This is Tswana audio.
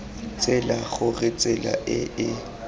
tsela gore tsela e e